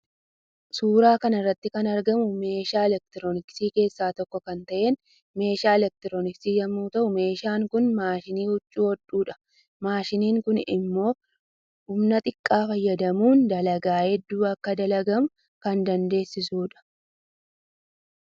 Suuraa kanarratti kan argamu meeshaa electirooniksii kessaa tokko kan ta'een meeshaa electirooniksii yommuu ta'uu meeshaan Kun mashiinii huccuu hodhudha. Maashiniin kun immo humna xiqqaa fayyadamuun dalagaa hedduun akka dalagamu kan dandeessisudha